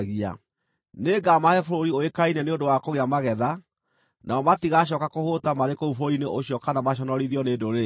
Nĩngamahe bũrũri ũĩkaine nĩ ũndũ wa kũgĩa magetha, nao matigacooka kũhũũta marĩ kũu bũrũri-inĩ ũcio kana maconorithio nĩ ndũrĩrĩ icio.